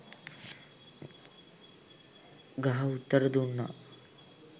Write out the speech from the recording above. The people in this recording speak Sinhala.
ගහ උත්තර දුන්නා.